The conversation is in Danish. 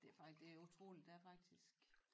Det det utroligt det er faktisk